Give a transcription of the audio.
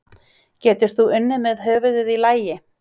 Getur þú unnið með höfuðið í lagi?